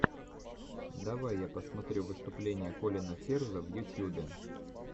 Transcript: давай я посмотрю выступление колина ферза в ютюбе